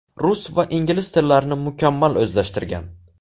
Rus va ingliz tillarini mukammal o‘zlashtirgan.